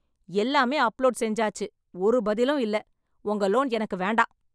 எல்லாமே அப்லோட் செஞ்சாச்சு. ஒரு பதிலும் இல்ல. உங்க லோன் எனக்கு வேண்டாம்.